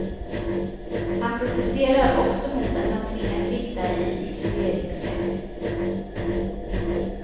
Han protesterar också mot att han tvingas sitta i isoleringscell.